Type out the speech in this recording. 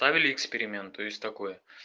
ставили эксперимент то есть такое